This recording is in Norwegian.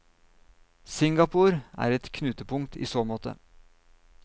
Singapore er et knutepunkt i så måte.